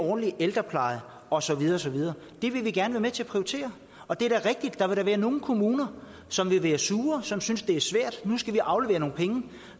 en ordentlig ældrepleje og så videre og så videre det vil vi gerne være med til at prioritere og det er da rigtigt at der vil være nogle kommuner som vil blive sure og som vil synes det er svært at de nu skal aflevere nogle penge